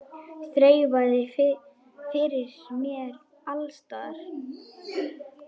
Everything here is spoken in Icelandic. Þreifað fyrir mér alls staðar.